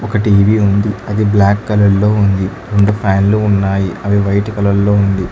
ఒక టీ_వి ఉంది అది బ్లాక్ కలర్ లో ఉంది రెండు ఫ్యాన్లు ఉన్నాయి అవి వైట్ కలర్ లో ఉంది.